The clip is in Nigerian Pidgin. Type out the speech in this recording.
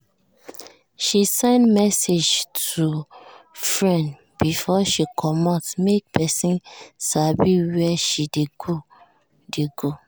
she send message to her friend before she comot make person sabi where she dey go. dey go.